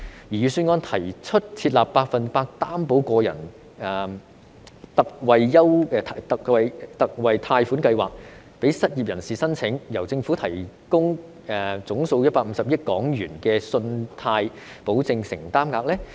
預算案提出設立百分百擔保個人特惠貸款計劃供失業人士申請，由政府提供總數150億元的信貸保證承擔額。